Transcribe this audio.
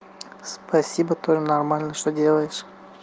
спасибо тоже нормально что делаешь